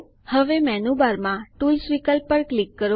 હવે મેનૂબારમાં ટૂલ્સ વિકલ્પ પર ક્લિક કરો